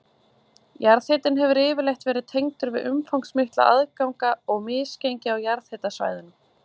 Jarðhitinn hefur yfirleitt verið tengdur við umfangsmikla ganga og misgengi á jarðhitasvæðunum.